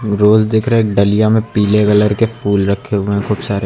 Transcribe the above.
रोज दिख रहे हैं एक डलिया में पीले कलर के फूल रखे हुए हैं खूब सारे।